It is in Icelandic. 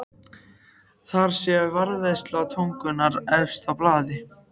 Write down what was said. Þar sé varðveisla tungunnar efst á blaði.